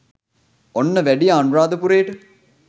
ඔන්න වැඩියා අනුරාධපුරේට